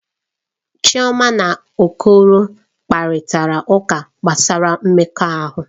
Chioma na Okoro kparịta ụka gbasara mmekọahụ.